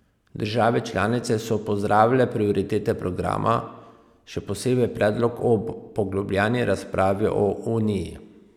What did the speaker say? Države članice so pozdravile prioritete programa, še posebej predlog o poglobljeni razpravi o uniji.